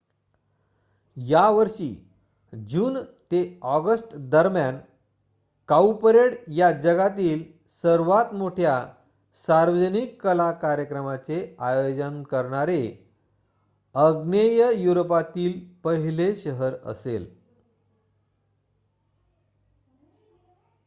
या वर्षी जून ते अॉगस्टदरम्यान काऊपरेड या जगातील सर्वात मोठ्या सार्वजनिक कला कार्यक्रमाचे आयोजन करणारे आग्नेय युरोपातील पहिले शहर असेल